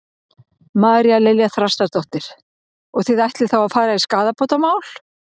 María Lilja Þrastardóttir: Og þið ætlið þá að fara í skaðabótamál?